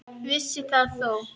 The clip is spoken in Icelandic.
Vissi það þó.